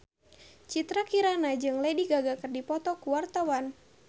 Citra Kirana jeung Lady Gaga keur dipoto ku wartawan